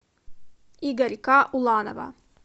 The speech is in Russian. игорька уланова